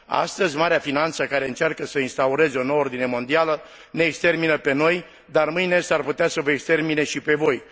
Astăzi, marea finanță care încearcă să instaureze o nouă ordine mondială ne extermină pe noi, dar mâine s ar putea să vă extermine și pe voi.